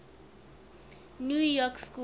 new york school